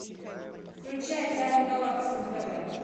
включай тайны галактики на тв